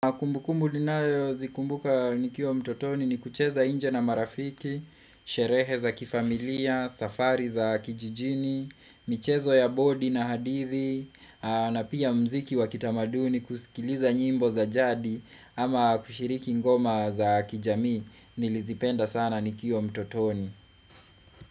Kumbukumbu ninayo zikumbuka nikiwa mtotoni ni kucheza nje na marafiki, sherehe za kifamilia, safari za kijijini, michezo ya bodi na hadithi, na pia mziki wa kitamaduni kusikiliza nyimbo za jadi ama kushiriki ngoma za kijamii nilizipenda sana nikiwa mtotoni.